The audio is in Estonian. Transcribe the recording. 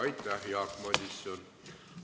Aitäh, Jaak Madison!